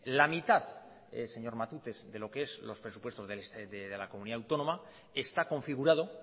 la mitad señor matute de lo que es los presupuestos de la comunidad autónoma está configurado